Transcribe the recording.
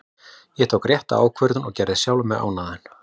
Ég tók rétta ákvörðun og gerði sjálfan mig ánægðan.